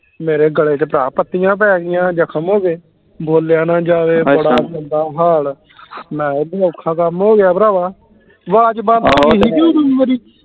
ਮੇਰੇ ਗਲੇ ਤੇ ਭਰਾ ਪਤੀਆਂ ਪੈ ਗਈਆਂ ਜਖਮ ਹੋ ਗਏ ਬੋਲਿਆ ਨੇ ਜਾਵੇ ਬੜਾ ਮੰਦਾ ਹਾਲ ਮੈਂ ਜੇ ਔਖਾ ਕੰਮ ਹੋ ਗਿਆ ਭਰਾਵਾਂ ਆਵਾਜ਼ ਬੰਦ ਹੋ ਗਈ ਹੀ ਕੇ ਉਦੋਂ ਮੇਰੀ